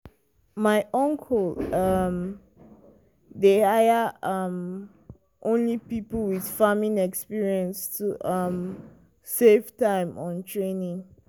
my uncle um dey hire um only people with farming experience to um save time on training.